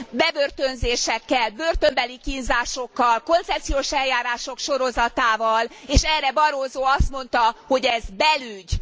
bebörtönzésekkel, börtönbeli kínzásokkal, koncepciós eljárások sorozatával, és erre Barroso azt mondta, hogy ez belügy.